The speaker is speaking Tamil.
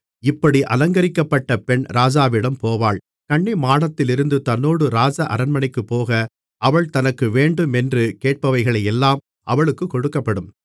இப்படி அலங்கரிக்கப்பட்ட பெண் ராஜாவிடம் போவாள் கன்னிமாடத்திலிருந்து தன்னோடு ராஜ அரண்மனைக்குப் போக அவள் தனக்கு வேண்டுமென்று கேட்பவைகளை எல்லாம் அவளுக்குக் கொடுக்கப்படும்